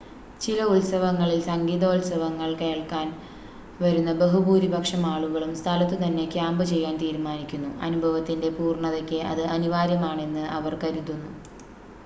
ചില ഉത്സവങ്ങളിൽ സംഗീതോത്സവങ്ങൾ കേൾക്കാൻ വരുന്ന ബഹുഭൂരിപക്ഷം ആളുകളും സ്ഥലത്തുതന്നെ ക്യാമ്പ് ചെയ്യാൻ തീരുമാനിക്കുന്നു അനുഭവത്തിൻ്റെ പൂർണ്ണതയ്ക്ക് അത് അനിവാര്യമാണെന്ന് അവർ കരുതുന്നു